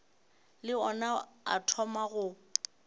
le ona a thoma go